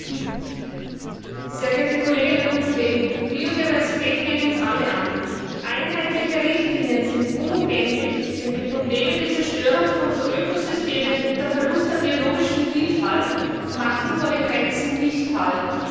Herr Präsident, sehr geehrte Kolleginnen und Kollegen! Biodiversität geht uns alle an. Einheitliche Richtlinien sind unumgänglich, denn die Probleme der Zerstörung von Ökosystemen unter Verlust der biologischen Vielfalt machen vor den Grenzen nicht halt.